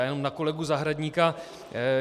Já jenom na kolegu Zahradníka.